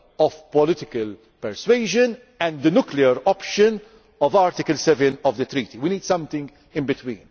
the two extremes between the soft power of political persuasion and the nuclear option of Article 7 of the Treaty. We need something in between.